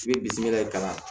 I bɛ bisimila ka na